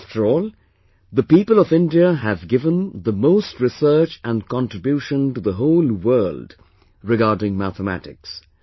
After all, the people of India have given the most research and contribution to the whole world regarding mathematics